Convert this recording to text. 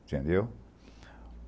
Entendeu?